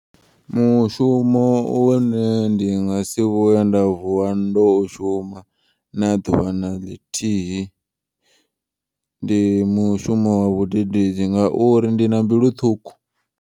Mushumo une ndi ngasi vhuye nda vuwa ndo u shuma na ḓuvha na ḽithihi. Ndi mushumo wa vhudededzi ngauri ndina mbilu ṱhukhu.